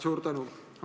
Suur tänu!